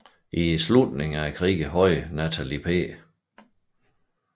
I slutningen af krigen havde Nathaniel P